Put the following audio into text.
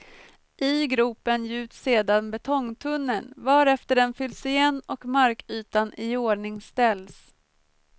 I gropen gjuts sedan betongtunneln, varefter den fylls igen och markytan iordningsställs.